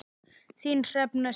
Þín Hrefna Sif.